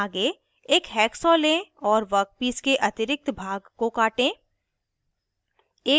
आगे एक हैक्सॉ लें और वर्कपीस के अतिरिक्त भाग को काटें